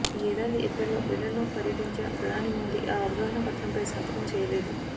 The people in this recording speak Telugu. ఈ ఏడాది ఏప్రిల్లో బ్రిటన్లో పర్యటించిన ప్రధాని మోదీ ఆ అవగాహన పత్రంపై సంతకం చేయలేదు